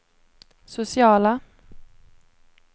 sociala